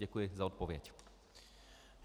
Děkuji za odpověď.